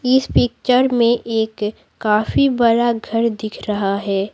इस पिक्चर में एक काफी बड़ा घर दिख रहा है।